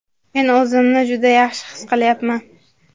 Men o‘zimni juda yaxshi his qilyapman!.